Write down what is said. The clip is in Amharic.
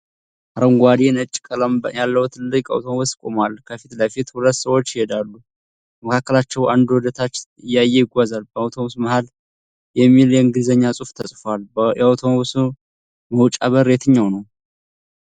አረንጓዴና ነጭ ቀለም ያለው ትልቅ አውቶቡስ ቆሟል። ከፊት ለፊት ሁለት ሰዎች ሲሄዱ፣ ከመካከላቸው አንዱ ወደ ታች እያየ ይጓዛል። በአውቶቡሱ መሃል ላይ '1st Level' የሚል የእንግሊዝኛ ጽሁፍ ተጽፏል። የአውቶቡሱ መውጫ በር የትኛው ነው?